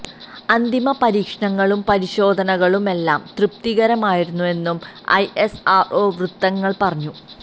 അന്തിമ പരീക്ഷണങ്ങളും പരിശോധനകളുമെല്ലാം തൃപ്തികരമായിരുന്നെന്ന് ഐ എസ് ആര് ഒ വൃത്തങ്ങള്പറഞ്ഞു